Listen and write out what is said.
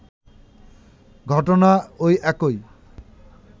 ঘটনা ওই একই